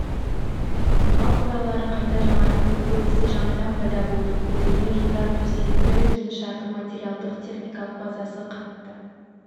мал қоралары қайта жаңартылып көбісі жаңадан пайда болды көтерме жолдар төселді кеңшардың материалдық техникалық базасы қатты